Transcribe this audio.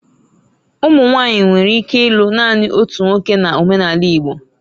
Ụmụ nwanyị nwere ike ịlụ naanị otu nwoke na omenala Igbo